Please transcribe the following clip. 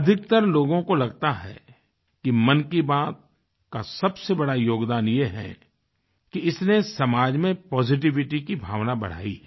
अधिकतर लोगों को लगता है कि मन की बात का सबसे बड़ा योगदान ये है कि इसने समाज में पॉजिटिविटी की भावना बढ़ायी है